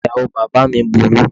Ìyàwó bàbáà mi burú.